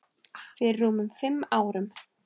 Fyrir rúmum fimm árum.